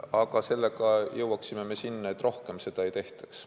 Aga sellega me jõuaksime sinna, et rohkem seda ei tehtaks.